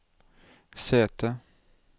sete